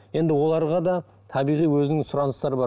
енді оларға да табиғи өзінің сұраныстары бар